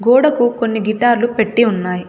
గోడకు కొన్ని గిటార్లు పెట్టీ ఉన్నాయి.